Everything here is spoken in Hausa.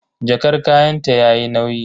Jakar kayanta yayi nauyi.